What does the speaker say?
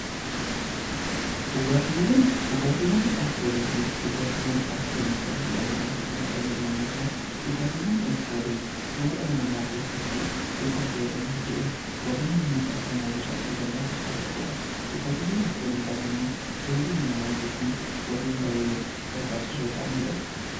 Dhugaatiiwwan dhugaatiiwwan alkoolii qabanii fi alkoolii hin taane jedhamuun ramadamu. Dhugaatiiwwan alkoolii fayyaa dhala namaa keessatti yoo kan fayyadamnu ta'e warreen miidhaa hamaaf nu saaxiluu danda'an keessaa tokkodha. Dhugaatiiwwan alkoolii hin taane immoo fayyaa dhala namaatii fi warreen baay'ee barbaachisoo ta'anidha.